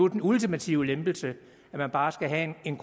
den ultimative lempelse at man bare skal have en